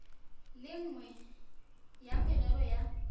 le nngwe ya merero ya